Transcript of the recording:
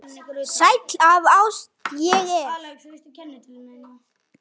Sæll af ást ég er.